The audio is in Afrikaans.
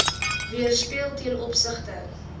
weerspieël ten opsigte